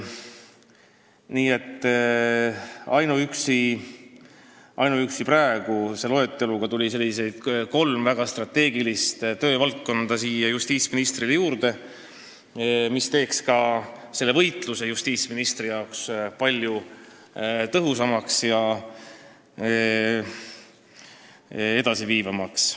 Nii et ainuüksi praeguse loeteluga tuli kolm väga strateegilist töövaldkonda siia justiitsministri ettekandele juurde, mis teeksid ka selle võitluse justiitsministrile palju tõhusamaks ja edasiviivamaks.